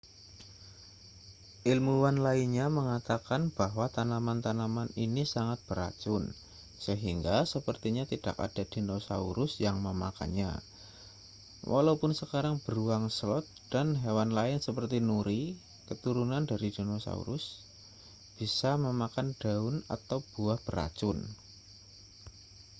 ilmuwan lainnya mengatakan bahwa tanaman-tanaman ini sangat beracun sehingga sepertinya tidak ada dinosaurus yang memakannya walaupun sekarang beruang sloth dan hewan lain seperti nuri keturunan dari dinosaurus bisa memakan daun atau buah beracun